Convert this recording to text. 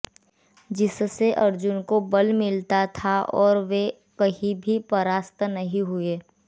जिससे अर्जुन को बल मिलता था और वे कहीं भी परास्त नहीं हुए